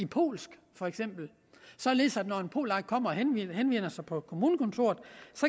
polsk således at når en polak kommer og henvender sig på kommunekontoret